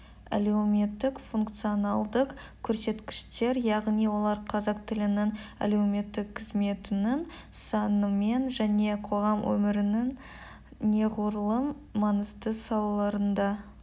әлеуметтік функционалдық көрсеткіштер яғни олар қазақ тілінің әлеуметтік қызметінің санымен және қоғам өмірінің неғұрлым маңызды салаларында